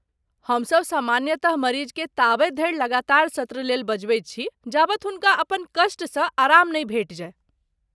हमसभ सामान्यतः मरीजकेँ ताबत धरि लगातार सत्र लेल बजबैत छी जाबत हुनका अपन कष्टसँ आराम नहि भेटि जाय।